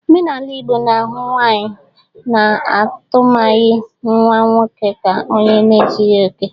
Omenala Igbo na-ahụ nwaanyị na-amụtaghi nwa nwoke ka onye na ezughi oke.